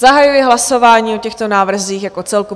Zahajuji hlasování o těchto návrzích jako celku.